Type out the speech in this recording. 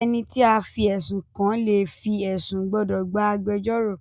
Ẹniti a fí ẹsun kàn le fi ẹsun gbódò gbà agbẹjọro.